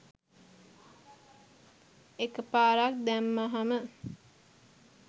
එකපාරක් දැම්මහම